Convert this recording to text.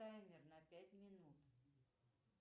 таймер на пять минут